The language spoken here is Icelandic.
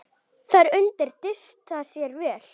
Þarna undi Dysta sér vel.